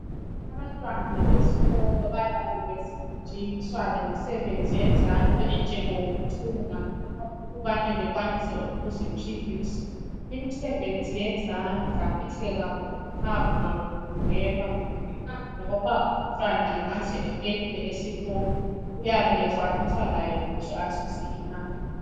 Abantwana besikolo bayabe befundiswa lemisebenzi yezandla, enjengokuthunga. Ukubane bakwanise ukuziphilisa, imisebenzi yezandla, mihle kakhulu. Loba umntwana angaze afeyile esikolo, uyabe ekwainisa laye ukuthi azuze imali.